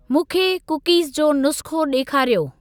मूंखे कुकीज़ जो नुस्ख़ो ॾेखारियो।